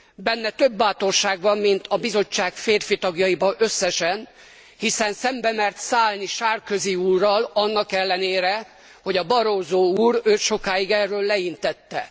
Benne több bátorság van, mint az Bizottság férfitagjaiban összesen, hiszen szembe mert szállni Sarkozy úrral, annak ellenére, hogy Barroso úr őt erről sokáig leintette.